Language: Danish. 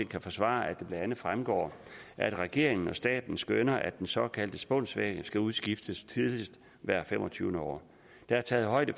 kan forsvare at det blandt andet fremgår at regeringen og staten skønner at den såkaldte spunsvæg skal udskiftes tidligst hvert femogtyvende år der er taget højde